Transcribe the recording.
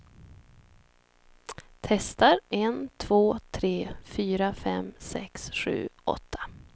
Testar en två tre fyra fem sex sju åtta.